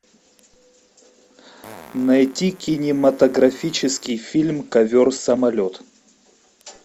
найти кинематографический фильм ковер самолет